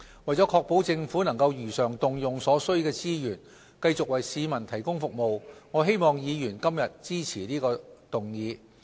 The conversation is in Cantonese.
為確保政府能如常動用所需的資源繼續為市民提供服務，我希望議員今天支持這項議案。